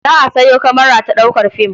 Za a sayo kamara ta ɗaukar fim.